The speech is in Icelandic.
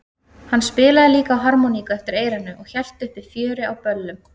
Hann spilaði líka á harmoníku eftir eyranu og hélt uppi fjöri á böllum.